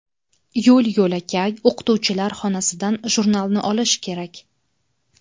Yo‘l-yo‘lakay o‘qituvchilar xonasidan jurnalni olish kerak.